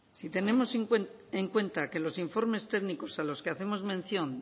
si tenemos en cuenta que los informes técnicos a los que hacemos mención